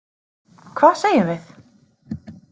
Hvað segjum við?